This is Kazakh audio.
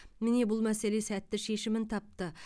міне бұл мәселе сәтті шешімін тапты